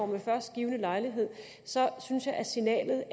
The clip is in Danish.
ved førstgivne lejlighed synes jeg at signalet